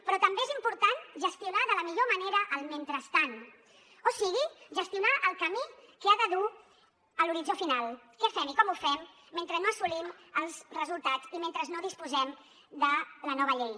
però també és important gestionar de la millor manera el mentrestant o sigui gestionar el camí que ha de dur a l’horitzó final què fem i com ho fem mentre no assolim els resultats i mentre no disposem de la nova llei